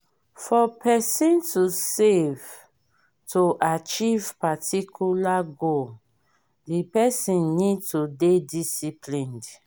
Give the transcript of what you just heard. for person to save to achieve particula goal di person need to dey disciplined